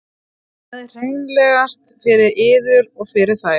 Það er hreinlegast fyrir yður og fyrir þær.